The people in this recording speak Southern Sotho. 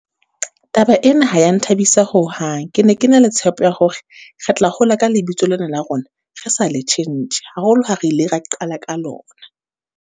Taba ena ha ya nthabisa ho hang, ke ne ke na le tshepo ya hore, re tla hola ka lebitso lena la rona, re sa le tjhentjhe. Haholo ha re ile ra qala ka lona.